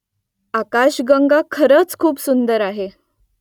आकाशगंगा खरंच खूप सुंदर आहे